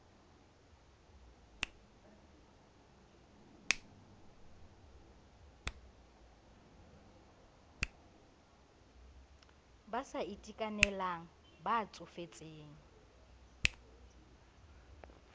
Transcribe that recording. ba sa itekanelang ba tsofetseng